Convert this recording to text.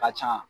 Ka ca